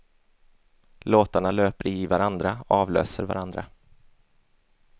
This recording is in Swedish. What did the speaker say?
Låtarna löper i varandra, avlöser varandra.